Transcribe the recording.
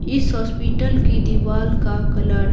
इस हॉस्पिटल की दीवार का कलर --